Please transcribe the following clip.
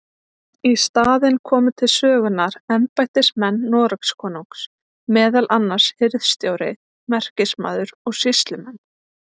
Í staðinn komu til sögunnar embættismenn Noregskonungs, meðal annars hirðstjóri, merkismaður og sýslumenn.